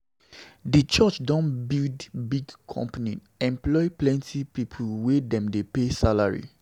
Di church don build big company employ plenty pipu wey dem dey pay salary